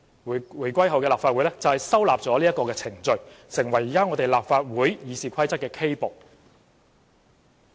回歸後的立法會收納了這些程序，成為現時立法會《議事規則》的 K 部。